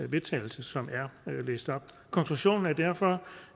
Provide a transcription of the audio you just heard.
vedtagelse som er læst op konklusionen er derfor